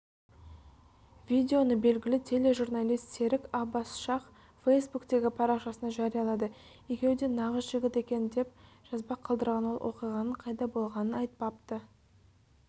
видеоны белгілі тележурналист серік аббас-шах фейсбуктегі парақшасына жариялады екеуі де нағыз жігіт екен екен депжазба қалдырған ол оқиғаның қайда болғанын айтпапты